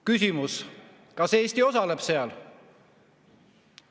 Küsimus: kas Eesti osaleb seal?